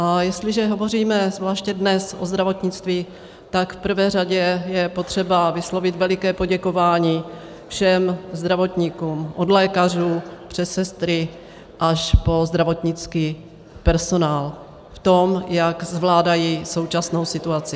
A jestliže hovoříme zvláště dnes o zdravotnictví, tak v prvé řadě je potřeba vyslovit veliké poděkování všem zdravotníkům od lékařů přes sestry až po zdravotnický personál v tom, jak zvládají současnou situaci.